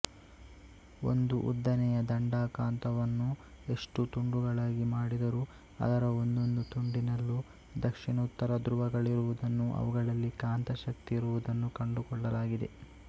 ಒಂದು ಉದ್ದನೆಯ ದಂಡಕಾಂತವನ್ನು ಎಷ್ಟು ತುಂಡುಗಳಾಗಿ ಮಾಡಿದರೂ ಅದರ ಒಂದೊಂದು ತುಂಡಿನಲ್ಲೂ ದಕ್ಷಿಣೋತ್ತರ ಧ್ರುವಗಳಿರುವುದನ್ನು ಅವುಗಳಲ್ಲಿ ಕಾಂತಶಕ್ತಿಯಿರುವುದನ್ನು ಕಂಡುಕೊಳ್ಳಲಾಗಿದೆ